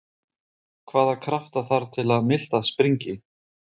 Hvaða krafta þarf til að miltað springi?